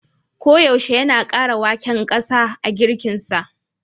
Koyaushe yana kara waken gasa a girkinsa.